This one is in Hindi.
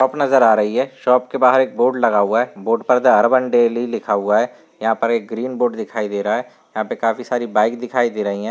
नजर आ रही है। शॉप के बाहर एक बोर्ड लगा हुआ है। बोर्ड पर दा अर्बन डेली लिखा हुआ है। यहाँ पर एक ग्रीन बोर्ड दिखाई दे रहा है। यहाँ पे काफी सारी बाइक दिखाई दे रही हैं।